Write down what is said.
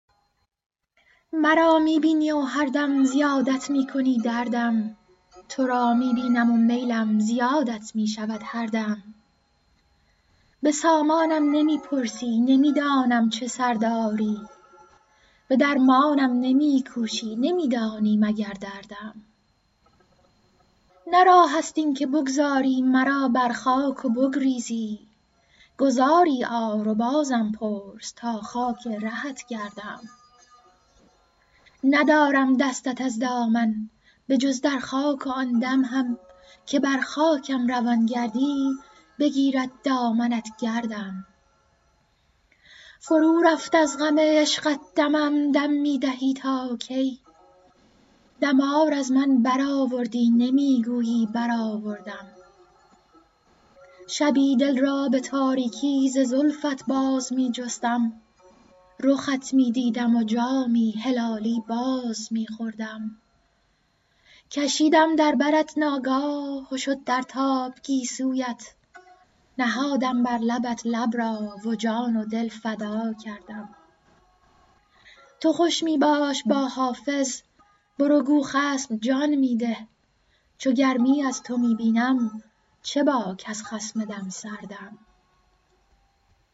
مرا می بینی و هر دم زیادت می کنی دردم تو را می بینم و میلم زیادت می شود هر دم به سامانم نمی پرسی نمی دانم چه سر داری به درمانم نمی کوشی نمی دانی مگر دردم نه راه است این که بگذاری مرا بر خاک و بگریزی گذاری آر و بازم پرس تا خاک رهت گردم ندارم دستت از دامن به جز در خاک و آن دم هم که بر خاکم روان گردی بگیرد دامنت گردم فرو رفت از غم عشقت دمم دم می دهی تا کی دمار از من برآوردی نمی گویی برآوردم شبی دل را به تاریکی ز زلفت باز می جستم رخت می دیدم و جامی هلالی باز می خوردم کشیدم در برت ناگاه و شد در تاب گیسویت نهادم بر لبت لب را و جان و دل فدا کردم تو خوش می باش با حافظ برو گو خصم جان می ده چو گرمی از تو می بینم چه باک از خصم دم سردم